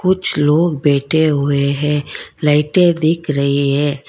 कुछ लोग बैठे हुए है लाइटें दिख रही है।